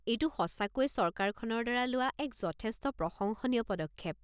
এইটো সঁচাকৈয়ে চৰকাৰখনৰ দ্বাৰা লোৱা এক যথেষ্ট প্ৰশংসনীয় পদক্ষেপ।